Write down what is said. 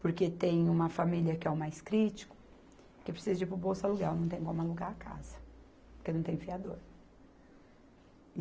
porque tem uma família que é o mais crítico, que precisa de ir para o bolsa aluguel, não tem como alugar a casa, porque não tem fiador.